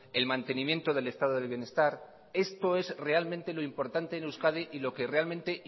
el mantenimiento del estado del bienestar esto es realmente lo importante en euskadi y lo que realmente